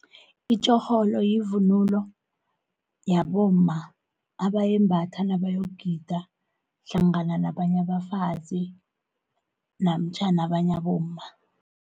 Itjorholo yivunulo, yabomma abayembatha nabayogida, hlangana nabanya abafazi namtjhana abanya abomma.